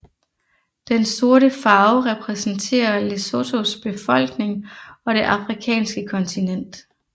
Den sorte farve repræsenterer Lesothos befolkning og det afrikanske kontinent